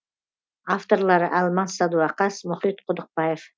авторлары алмас садуақас мұхит құдықбаев